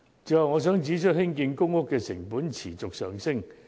最後，我想指出，興建公屋的成本持續上升。